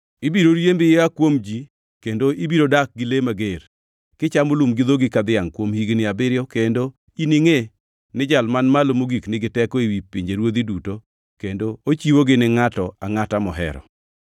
Ibiro riembi ia kuom ji kendo ibiro dak gi le mager; kichamo lum gi dhogi ka dhiangʼ kuom higni abiriyo kendo iningʼe ni Jal Man Malo Mogik nigi teko ewi pinjeruodhi duto kendo ochiwogi ni ngʼato angʼata mohero.”